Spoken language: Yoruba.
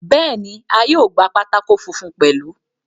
Bẹ́ẹ̀ni, a yóò gba pátákó funfun pẹ̀lú.